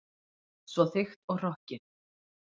Svo þykkt og hrokkið.